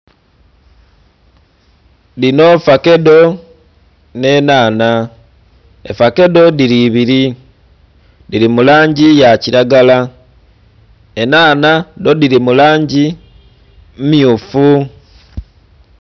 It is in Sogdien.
Dhinho ffakedo nhe nhanha effakedo dhili ibiri dhili mu langi ya kilagala, enhanha dho dhili mu langi mmyufu.